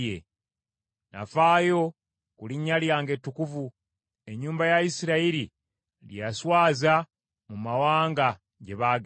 Nafaayo ku linnya lyange ettukuvu, ennyumba ya Isirayiri lye yaswaza mu mawanga gye baagenda.